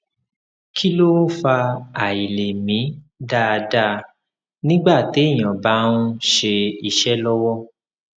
kí ló ń fa àìlè mí dáadáa nígbà téèyàn bá ń ṣe iṣẹ lọwọ